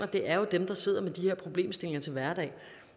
det er jo dem der sidder med de her problemstillinger til hverdag